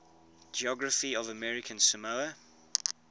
geography of american samoa